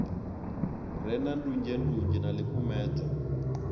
re na ndunzhendunzhe na ḽikumedzwa